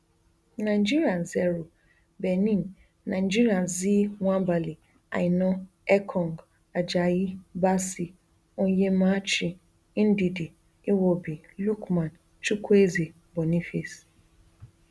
nigeria zero benin nigeria xi nwabali aina ekong ajayi bassey onyemaechi ndidi iwobi lookman chukwueze boniface